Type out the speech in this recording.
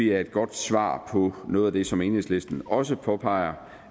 er et godt svar på noget af det som enhedslisten også påpeger